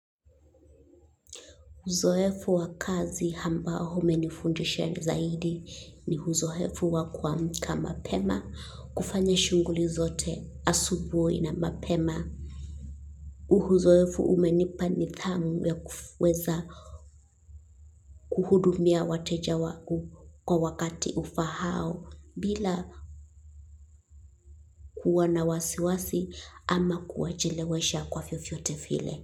Uzoefu wa kazi ambao umenifundisha zaidi ni uzoefu wa kuamka mapema kufanya shughuli zote asubuhi na mapema. Uzoefu umenipa nidhamu ya kuweza kuhudumia wateja wangu kwa wakati ufaao bila kuwa na wasiwasi ama kuwachelewesha kwa vyovyote.